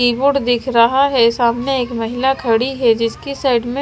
keyboard दिख रहा है सामने एक महिला खड़ी है जिसकी साइड में--